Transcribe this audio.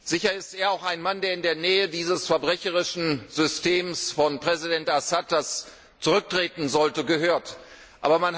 Sicher ist er auch ein Mann, der in der Nähe dieses verbrecherischen Systems von Präsident Assad, der zurücktreten sollte, anzusiedeln ist.